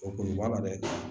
O kuru b'a la dɛ